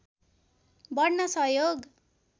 बढ्न सहयोग